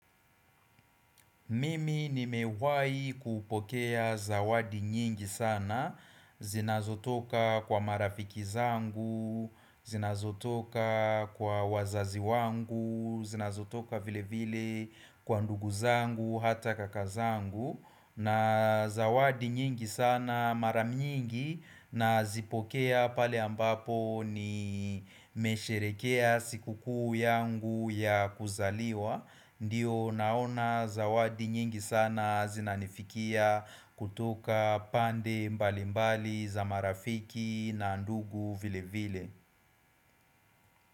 Mimi nimewahi kupokea zawadi nyingi sana zinazotoka kwa marafiki zangu zinazotoka kwa wazazi wangu, zinazotoka vile vile kwa ndugu zangu, hataka kaka zangu. Na zawadi nyingi sana mara nyingi nazipokea pale ambapo nimesherekea siku kuu yangu ya kuzaliwa ndiyo naona zawadi nyingi sana zinanifikia kutoka pande mbali mbali za marafiki na ndugu vile vile.